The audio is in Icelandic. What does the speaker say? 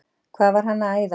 Hvað var hann að æða út?